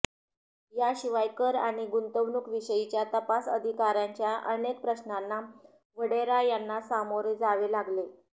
याशिवाय कर आणि गुंतवणूक विषयीच्या तपास अधिकाऱ्यांच्या अनेक प्रश्नांना वढेरा यांना सामोरे जावे लागले